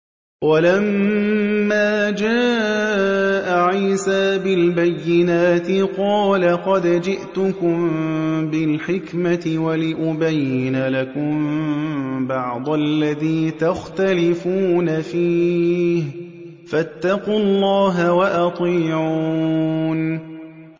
وَلَمَّا جَاءَ عِيسَىٰ بِالْبَيِّنَاتِ قَالَ قَدْ جِئْتُكُم بِالْحِكْمَةِ وَلِأُبَيِّنَ لَكُم بَعْضَ الَّذِي تَخْتَلِفُونَ فِيهِ ۖ فَاتَّقُوا اللَّهَ وَأَطِيعُونِ